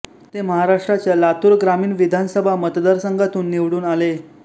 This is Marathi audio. ते महाराष्ट्राच्या लातूर ग्रामीण विधानसभा मतदारसंघातून निवडून आले